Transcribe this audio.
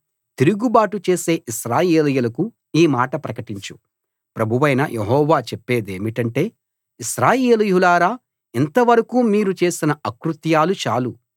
తిరుగుబాటు చేసే ఇశ్రాయేలీయులకు ఈ మాట ప్రకటించు ప్రభువైన యెహోవా చెప్పేదేమిటంటే ఇశ్రాయేలీయులారా ఇంతవరకూ మీరు చేసిన అకృత్యాలు చాలు